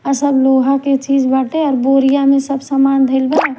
सब लोहा के चीज़ बाटे बोरिया में सब समान धईल बा--